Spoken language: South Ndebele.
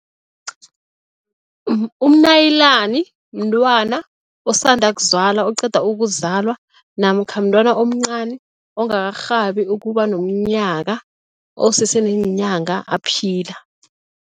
Umnaliyani mntwana osanda kuzalwa, oqeda ukuzalwa namkha mntwana omncani ongakarhabi ukuba nomnyaka, osese neenyanga aphila.